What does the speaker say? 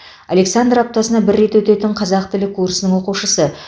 александр аптасына бір рет өтетін қазақ тілі курсының оқушысы